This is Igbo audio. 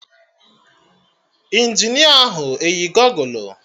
Injinia ahụ eyi gọgụlụ?